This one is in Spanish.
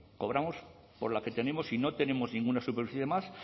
cobramos por la que tenemos y no tenemos ninguna superficie más